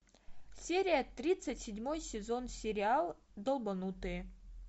серия тридцать седьмой сезон сериал долбанутые